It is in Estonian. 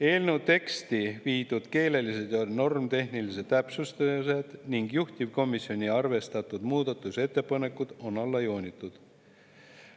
Eelnõu teksti viidud keelelised ja normitehnilised täpsustused ning juhtivkomisjoni arvestatud muudatusettepanekud on alla joonitud.